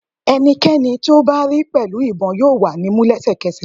Ẹnikẹni ti o ba ri pẹlu ibon yoo wa ni mu lẹsẹkẹsẹ